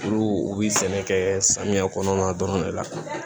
Olu u bi sɛnɛ kɛ samiya kɔnɔna dɔrɔn de la